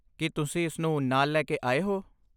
ਕੀ ਤੁਸੀਂ ਇਸ ਨੂੰ ਨਾਲ ਲੈ ਕੇ ਆਏ ਹੋ?